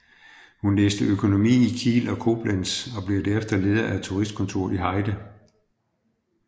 Han læste økonomi i Kiel og Koblenz og blev derefter leder af turistkontoret i Heide